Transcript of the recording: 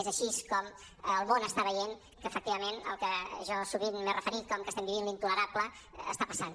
és així com el món està veient que efectivament al que jo sovint m’he referint com que estem vivint l’intolerable està passant